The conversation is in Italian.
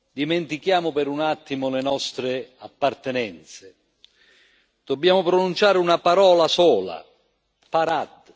Dimentichiamo per un attimo le nostre appartenenze dobbiamo pronunciare una parola sola Parad!,